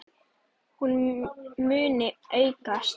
Hún muni aukast!